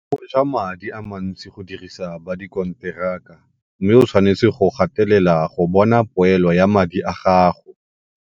Go ja madi a mantsi go dirisa ba dikonteraka mme o tshwanetse go gatelela go bona poelo ya madi a gago.